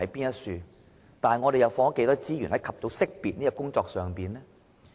但是，我們又投放了多少資源在"及早識別"的工作上？